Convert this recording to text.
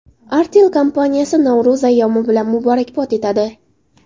Artel kompaniyasi Navro‘z ayyomi bilan muborakbod etadi.